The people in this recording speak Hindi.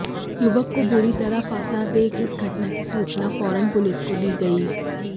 युवक को बुरी तरह फंसा देख इस घटना की सूचना फौरन पुलिस को दी गई